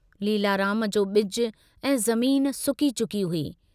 लीलाराम जो बिजु ऐं ज़मीन सुकी चुकी हुई।